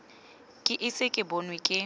ke ise ke bonwe ke